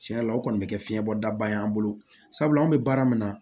Tiɲɛ yɛrɛ la o kɔni bɛ kɛ fiɲɛ bɔdaba ye an bolo sabula an bɛ baara min na